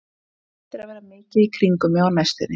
Þær eiga eftir að vera mikið í kringum mig á næstunni.